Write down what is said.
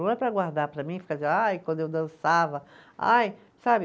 Não é para guardar para mim e ficar dizendo, ai, quando eu dançava, ai, sabe